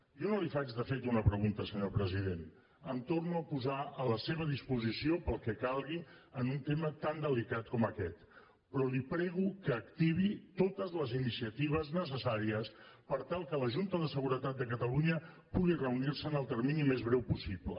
jo no li faig de fet una pregunta senyor president em torno a posar a la seva disposició per al que calgui en un tema tan delicat com aquest però li prego que activi totes les iniciatives necessàries per tal que la junta de seguretat de catalunya pugui reunir se en el termini més breu possible